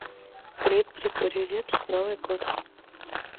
клип григорий лепс новый год